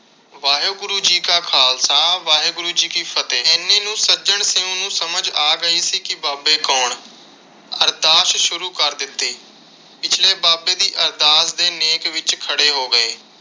ਵਾਹਿਗੁਰੂ ਜੀ ਕਾ ਖ਼ਾਲਸਾ ਵਾਹਿਗੁਰੂ ਜੀ ਕੀ ਫਤਹਿ। ਇੰਨੇ ਨੂੰ ਸੱਜਣ ਸਿੰਘ ਨੂੰ ਸਮਝ ਗਈ ਸੀ ਕਿ ਬਾਬੇ ਕੌਣ। ਅਰਦਾਸ ਸ਼ੁਰੂ ਕਰ ਦਿੱਤੀ। ਪਿਛਲੇ ਬਾਬੇ ਦੀ ਅਰਦਾਸ ਦੇ ਨੇਕ ਵਿਚ ਖੜੇ ਹੋ ਗਏ।